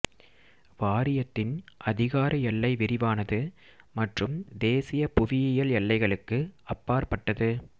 வாரியத்தின் அதிகார எல்லை விரிவானது மற்றும் தேசிய புவியியல் எல்லைகளுக்கு அப்பாற்பட்டது